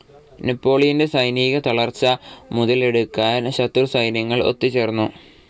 നെപോളിയന്റെ സൈനികത്തളർച്ച മുതലെടുക്കാൻ ശത്രുസൈന്യങ്ങൾ ഒത്തുചേർന്നു.